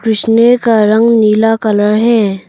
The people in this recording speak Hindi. उसने का रंग नीला कलर है।